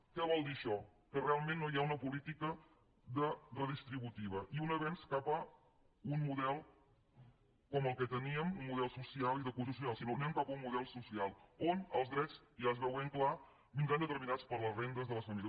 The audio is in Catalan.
què vol dir això que realment no hi ha una política redistributiva i un avenç cap a un model com el que teníem un model social i de cohesió social sinó que anem cap a un model social on els drets ja es veu ben clar vindran determinats per les rendes de les famílies